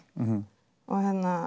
og